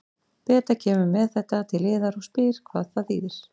Beta kemur með þetta til yðar og spyr hvað það þýðir.